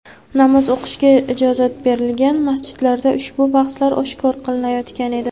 Namoz o‘qishga ijozat berilgan masjidlarda ushbu bahslar oshkora qilinayotgan edi.